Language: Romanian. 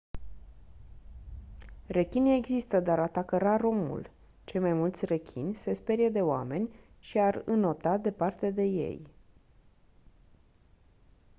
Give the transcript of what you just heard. rechinii există dar atacă rar omul cei mai mulți rechini se sperie de oameni și ar înota departe de ei